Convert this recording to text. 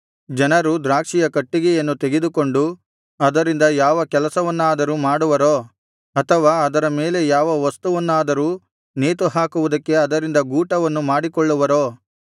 ಜನರು ದ್ರಾಕ್ಷಿಯ ಕಟ್ಟಿಗೆಯನ್ನು ತೆಗೆದುಕೊಂಡು ಅದರಿಂದ ಯಾವ ಕೆಲಸವನ್ನಾದರೂ ಮಾಡುವರೋ ಅಥವಾ ಅದರ ಮೇಲೆ ಯಾವ ವಸ್ತುವನ್ನಾದರೂ ನೇತು ಹಾಕುವುದಕ್ಕೆ ಅದರಿಂದ ಗೂಟವನ್ನು ಮಾಡಿಕೊಳ್ಳುವರೋ